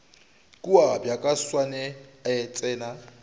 kua bjaka tšhwene e tsena